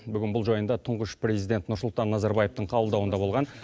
бүгін бұл жайында тұңғыш президент нұрсұлтан назарбаевтың қабылдауында болған